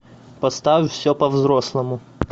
поставь все по взрослому